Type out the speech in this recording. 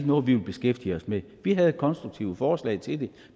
noget vi vil beskæftige os med vi havde konstruktive forslag til det